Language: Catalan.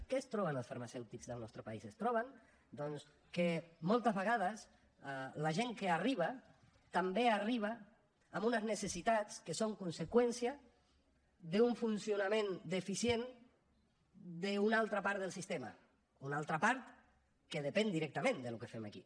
què es troben els farmacèutics del nostre país es troben doncs que moltes vegades la gent que arriba també arriba amb unes necessitats que són conseqüència d’un funcionament deficient d’una altra part del sistema una altra part que depèn directament del que fem aquí